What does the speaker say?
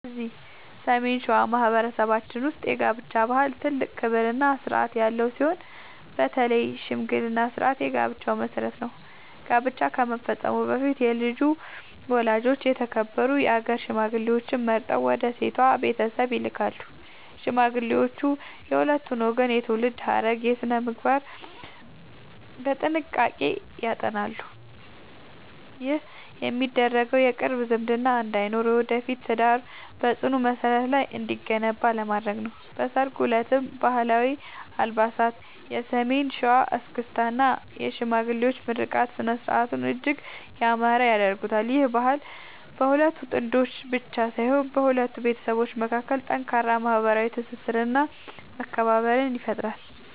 እዚህ ሰሜን ሸዋ በማኅበረሰባችን ውስጥ የጋብቻ ባህል ትልቅ ክብርና ሥርዓት ያለው ሲሆን፣ በተለይ የሽምግልና ሥርዓት የጋብቻው መሠረት ነው። ጋብቻ ከመፈጸሙ በፊት የልጁ ወላጆች የተከበሩ የአገር ሽማግሌዎችን መርጠው ወደ ሴቷ ቤተሰብ ይልካሉ። ሽማግሌዎቹ የሁለቱን ወገን የትውልድ ሐረግና ሥነ-ምግባር በጥንቃቄ ያጠናሉ። ይህ የሚደረገው የቅርብ ዝምድና እንዳይኖርና የወደፊቱ ትዳር በጽኑ መሠረት ላይ እንዲገነባ ለማድረግ ነው። በሠርጉ ዕለትም ባህላዊ አልባሳት፣ የሰሜን ሸዋ እስክስታ እና የሽማግሌዎች ምርቃት ሥነ-ሥርዓቱን እጅግ ያማረ ያደርጉታል። ይህ ባህል በሁለት ጥንዶች ብቻ ሳይሆን በሁለት ቤተሰቦች መካከል ጠንካራ ማኅበራዊ ትስስርና መከባበርን ይፈጥራል።